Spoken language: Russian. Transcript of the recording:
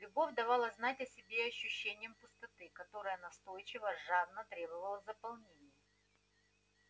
любовь давала знать о себе ощущением пустоты которая настойчиво жадно требовала заполнения